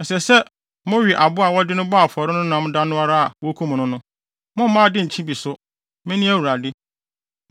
Ɛsɛ sɛ, mowe aboa a wɔde no bɔɔ afɔre no nam da no ara a wokum no no. Mommma ade nkye bi so. Mene Awurade.